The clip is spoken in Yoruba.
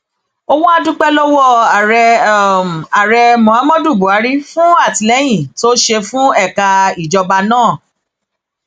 ó wáá dúpẹ lọwọ ààrẹ ààrẹ muhammadu buhari fún àtìlẹyìn tó ń ṣe fún ẹka ìjọba náà